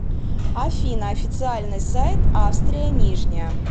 афина официальный сайт австрия нижняя